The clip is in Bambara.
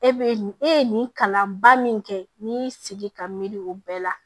E be e ye nin kalanba min kɛ n'i y'i sigi ka miiri o bɛɛ la